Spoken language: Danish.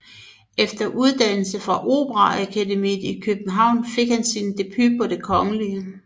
Efter uddannelse på Operaakademiet i København fik han debut på Det Kgl